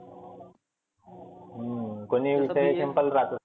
हम्म कोनी विषय राहतं.